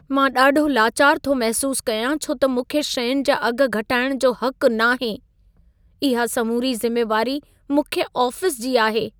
मां ॾाढो लाचारु थो महिसूस कयां छो त मूंखे शयुनि जा अघि घटाइण जो हक़ नाहे। इहा समूरी ज़िमेवारी मुख्य आफ़िसु जी आहे।